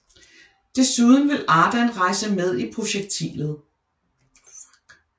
Desuden vil Ardan rejse med i projektilet